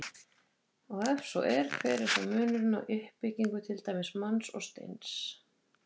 Og ef svo er, hver er þá munurinn á uppbyggingu til dæmis manns og steins?